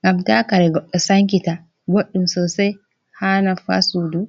ngam ta kare goɗɗo sankita boɗɗum sosai ha naffa sudu.